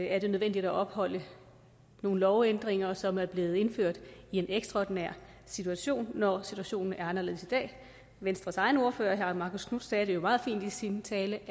er det nødvendigt at opretholde nogle lovændringer som er blevet indført i en ekstraordinær situation når situationen er anderledes i dag venstres egen ordfører herre marcus knuth sagde det jo meget fint i sin tale